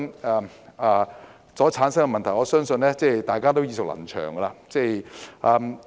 由此所產生的問題，相信大家也耳熟能詳。